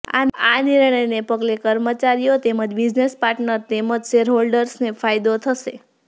આ નિર્ણયને પગલે કર્મચારીઓ તેમજ બિઝનેસ પાર્ટનર તેમજ શેર હોલ્ડર્સને ફાયદો થશે